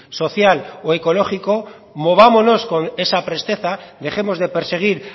social o ecológico movámonos con esa presteza dejemos de perseguir